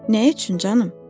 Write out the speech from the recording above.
Nə üçün, canım?